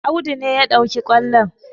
Audu ne ya ɗauki ƙwallon